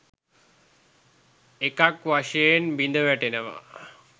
එකක් වශයෙන් බිඳවැටෙනවා.